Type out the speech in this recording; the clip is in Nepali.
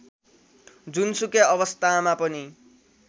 जुनसुकै अवस्थामा पनि